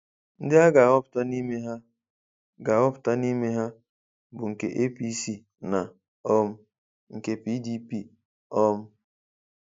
Ndị a ga-ahọpụta n’ime ha ga-ahọpụta n’ime ha bụ nke APC na um nke PDP. um